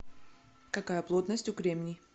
какая плотность у кремний